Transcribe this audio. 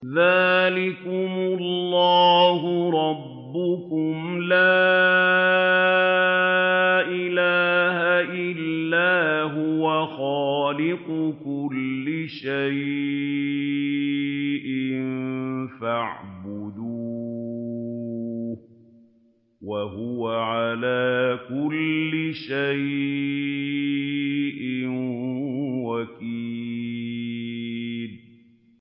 ذَٰلِكُمُ اللَّهُ رَبُّكُمْ ۖ لَا إِلَٰهَ إِلَّا هُوَ ۖ خَالِقُ كُلِّ شَيْءٍ فَاعْبُدُوهُ ۚ وَهُوَ عَلَىٰ كُلِّ شَيْءٍ وَكِيلٌ